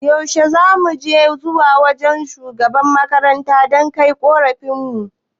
Yaushe zuma aikeka zuwa wajan shugaban makarantar dan kai korafin mu?